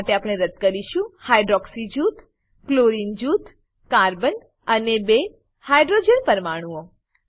આ માટે આપણે રદ્દ કરીશું હાઇડ્રોક્સી જૂથ ક્લોરીન જૂથ કાર્બન અને બે હાઇડ્રોજન પરમાણુઓ